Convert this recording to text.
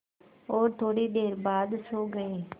और थोड़ी देर बाद सो गए